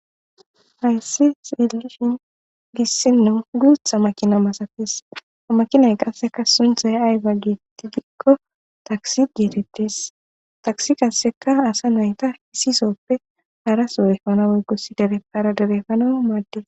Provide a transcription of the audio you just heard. Hayssi seelishin issinnu guutha makina masates amakinay qasseka sunthay ayga geettti dikko taksi geetettes taksi qasseka asa nayta hisisoppe haraso efana woygo issi dereppara dere efana maaddes.